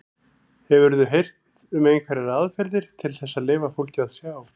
Hefurðu heyrt um einhverjar aðferðir til þess að leyfa fólki að sjá?